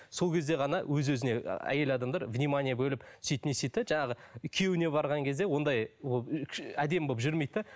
сол кезде ғана өз өзіне ы әйел адамдар внимание бөліп сөйтіп не істейді де жаңағы күйеуіне барған кезде ондай әдемі болып жүмейді де